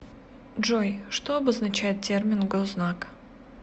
джой что обозначает термин гознак